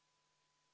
Siis toimub hääletus.